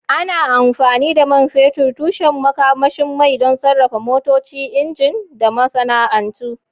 Ana amfani da man fetur, tushen makamashin mai, don sarrafa motoci, inji, da masana'antu.